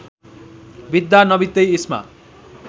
बित्दा नबित्दै इस्मा